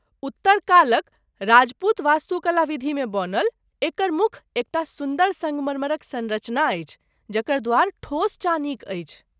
उत्तर कालक राजपूत वास्तुकला विधिमे बनल, एकर मुख एक टा सुन्दर सङ्गमरमरक सँरचना अछि जकर द्वार ठोस चानीक अछि।